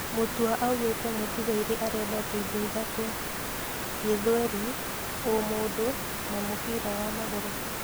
Mutua augĩte mũtiga-irĩ arendete indo ithatũ: Gĩthweri, ũmũndũ na mũbira wa magũrũ.